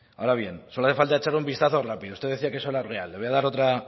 ahora bien solo hace falta echar un vistazo rápido usted decía que eso era real le voy a dar otra